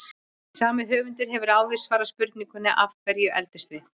Sami höfundur hefur áður svarað spurningunni Af hverju eldumst við?